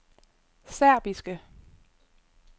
serbiske